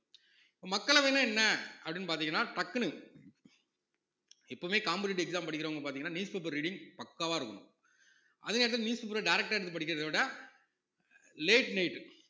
இப்ப மக்களவைன்னா என்ன அப்படின்னு பார்த்தீங்கன்னா டக்குனு எப்பவுமே competitive exam படிக்கிறவங்க பார்த்தீங்கன்னா news paper reading பக்காவா இருக்கணும் அதே நேரத்துல news paper அ direct ஆ எடுத்து படிக்கிறதை விட late night